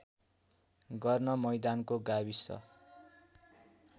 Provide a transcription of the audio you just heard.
गर्न मैदानको गाविस